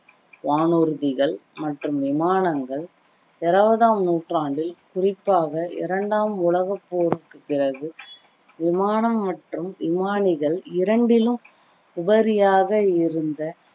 வானூர்திகள் மற்றும் விமானங்கள் இருவதாம் நூற்றாண்டில் குறிப்பாக இரண்டாம் உலக போருக்கு பிறகு விமானம் மற்றும் விமானிகள் இரண்டிலும் உபரியாக இருந்த